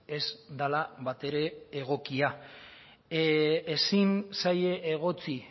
ez dela batere egokia ezin zaie egotzi